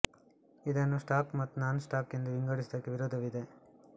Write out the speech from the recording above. ಇದನ್ನು ಸ್ಟಾಕ್ ಮತ್ತು non stock ಎಂದು ವಿಂಗಡಿಸುವುದಕ್ಕೆ ವಿರೋಧವಿದೆ